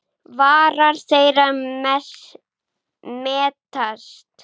Varir þeirra mætast.